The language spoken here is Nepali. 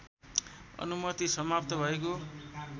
अनुमति समाप्त भएको